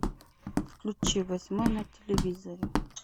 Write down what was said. включи восьмой на телевизоре